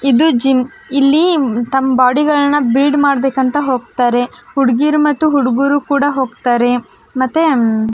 ಇದು ಜಿಮ್ ಇಲ್ಲಿ ತಮ್ಮ ಬಾಡಿ ಗಳನ್ನೂ ಬಿಲ್ಡ್ ಮಾಡ್ಬೇಕಂತ ಹೋಗ್ತಾರೆ ಹುಡ್ಗಿರು ಮತ್ ಹುಡಗೂರು ಕೂಡ ಹೋಗ್ತಾರೆ ಮತ್ತೆ --